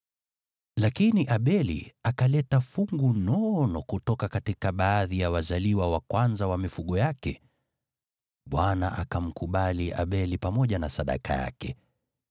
Lakini Abeli akaleta fungu nono kutoka baadhi ya wazaliwa wa kwanza wa mifugo yake. Bwana akamkubali Abeli pamoja na sadaka yake,